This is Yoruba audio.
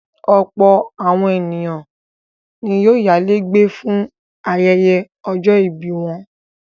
Ọ̀pọ̀ àwọn ènìyàn ni yóò yálé gbé fún ayẹyẹ ọjọ́-ìbí wọn.